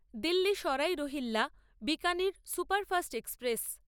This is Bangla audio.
Delhi Sarai Rohilla Bikaner superfast express